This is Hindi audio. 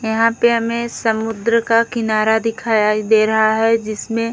यहां पे हमें समुद्र का किनारा दिखाया दे रहा है जिसमें --